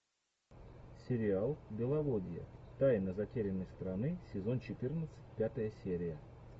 сериал беловодье тайна затерянной страны сезон четырнадцать пятая серия